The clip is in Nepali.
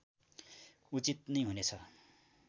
उचित नै हुनेछ